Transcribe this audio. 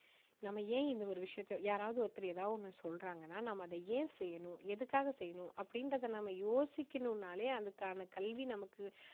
நம்ம ஏன் இந்த ஒரு விஷயத்தை யாராவது ஒருத்தர் ஏதாவது ஒண்ணு சொல்றாங்கன்னா நாம அதை ஏன் செய்யணும் எதுக்காக செய்யணும் அப்படின்றத நாம யோசிக்கணும்னாலே அதுக்கான கல்வி நமக்கு